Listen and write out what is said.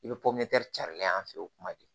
I bɛ cari la yan fɛ o kuma de